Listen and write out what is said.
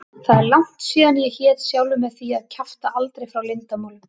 Það er langt síðan ég hét sjálfri mér því að kjafta aldrei frá leyndarmálum.